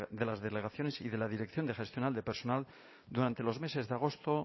de las delegaciones y de la dirección de gestión de personal durante los meses de agosto